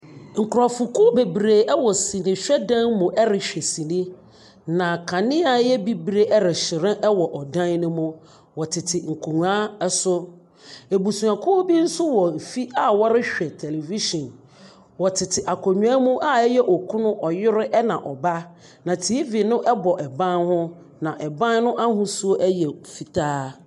Nkurɔfokuw bebree wɔ sinihwɛ dan mu rehwɛ sini, na kanea a ɛyɛ bibire rehyerɛn wɔ ɔdan no mu. Wɔtete nkonnwa so. Abusuakuw bi nso wɔ fi a wɔrehwɛ television. Wɔtete akonnwa mu a ɛyɛ, ɔkuno, ɔyere ɛna ɔba, na TV no bɔ ban ho, na ɛban no ahosuo yɛ fitaa.